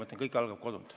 Indrek Saar, palun!